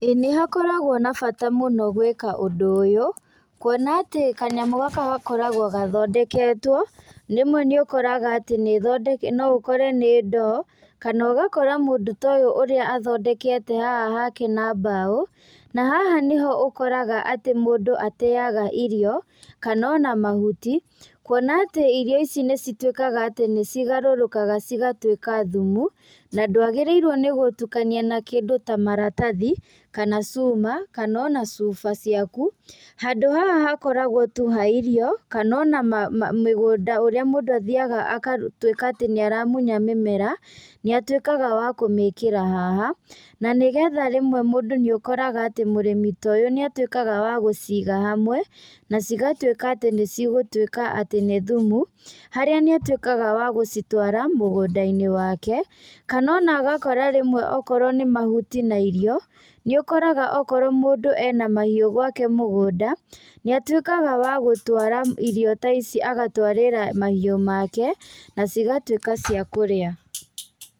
Ĩ nĩgũkoragwo na bata mũno gwĩka ũndũ ũyũ, kuona atĩ kanyamũ gaka gakoragwo gathondeketwo, rĩmwe nĩũkoraga atĩ nĩũthonde noũkore nĩ ndoo, kana ũgakora mũndũ ta ũyũ ũrĩa athondekete haha hake na mbaũ, na haha nĩho ũkoraga atĩ mũndũ ateaga irio, kanona mahuti, kuona atĩ irio ici nĩcitwĩkaga atĩ nĩcigarũrũkaga cigatwĩka ta thumu, na ndwagĩrĩirwo nĩ gũtukania na kĩndũ ta maratathi, kana cuma, kanona cuba ciaku, handũ haha hakoragwo tu ha irio, kanona ma ma mĩgũnda ũrĩa mũndũ athiaga agatwĩka atĩ nĩaruta nĩaramunya mĩmera, nĩatwĩkaga wa gwĩkĩra haha, nanĩgetha rwĩmwe mũndũ nĩakoraga atĩ mũrĩmi ta ũyũ nĩtawĩkaga wa gũciga hamwe, na cigatwĩka atĩ nĩcigũtwĩka atĩ nĩ thumu, harĩa nĩũtwĩkaga wa gũcitwara mũgũnda-inĩ wake, kanona akoya rĩmwe akorwo nĩ mahuti na irio, nĩũkoraga akorwo mũndũ ena mahiú gwake mũgũnda, nĩatwĩkaga wa gũtwara irio ta ici agatwarĩra mahiũ make, nacigatwĩka cia kũrĩa.